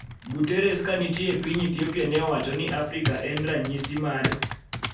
Guterres ka nitie e piny Ethiopia ne owacho ni Afrika en ranyisi mar